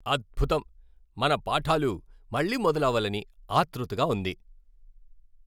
అద్భుతం! మన పాఠాలు మళ్ళీ మొదలవ్వాలని ఆతృతగా ఉంది.